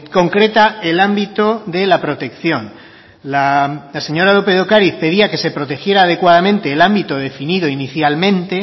concreta el ámbito de la protección la señora lópez de ocariz pedía que se protegiera adecuadamente el ámbito definido inicialmente